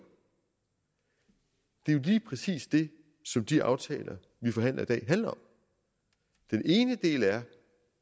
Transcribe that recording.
er jo lige præcis det som de aftaler vi forhandler i dag handler om den ene del er